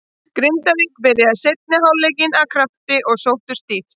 Grindavík byrjaði seinni hálfleikinn af krafti og sóttu stíft.